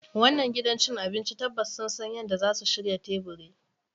Wannan gidan cin abinci tabbas sun san yadda zasu shirya teburi